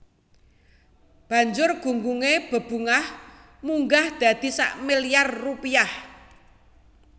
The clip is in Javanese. Banjur gunggungé bebungah munggah dadi sak milyar rupiah